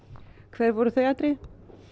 hver voru þau atriði